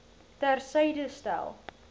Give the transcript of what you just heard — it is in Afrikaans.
ter syde stel